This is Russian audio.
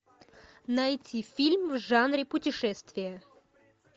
найти фильм в жанре путешествия